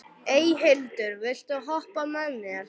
Eyhildur, viltu hoppa með mér?